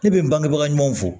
Ne bɛ n bangebaga ɲumanw fɔ